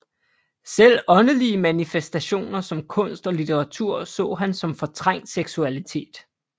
Selv åndelige manifestationer som kunst og litteratur så han som fortrængt seksualitet